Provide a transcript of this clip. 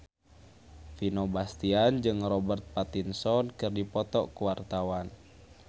Vino Bastian jeung Robert Pattinson keur dipoto ku wartawan